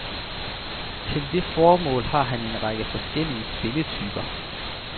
Til det formål har han en række forskellige spillertyper.